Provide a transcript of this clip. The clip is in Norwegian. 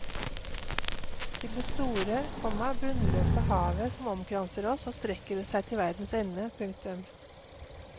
Til det store, komma bunnløse havet som omkranser oss og strekker seg til verdens ende. punktum